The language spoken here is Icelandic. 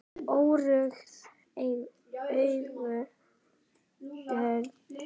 Óræð augun brún.